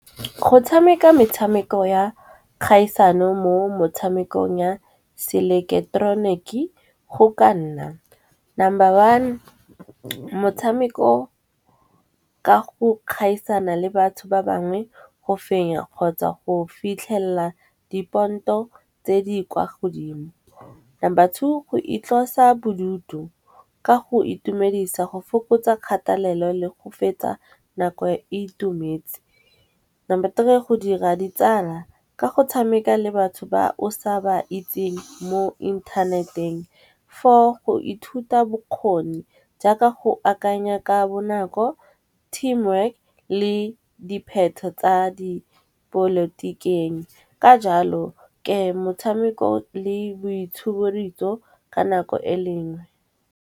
Go tshameka metshameko ya kgaisano mo motshamekong ya se ileketeroniki, go ka nna number one motshameko ka go kgaisano le batho ba bangwe go fenya kgotsa go fitlhella diponto tse di kwa godimo. Number two go itlosa bodutu ka go itumedisa go fokotsa kgatelelo le go fetsa nako e itumetse. Number three go dira ditsala ka go tshameka le batho ba o sa ba itseng mo inthaneteng for go ithuta bokgoni. Jaaka go akanya ka bonako, team work le dipheto tsa dipolotikeng. Ka jalo ke motshameko le boitshuburitso ka nako e lengwe.